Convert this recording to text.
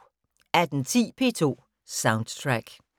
18:10: P2 Soundtrack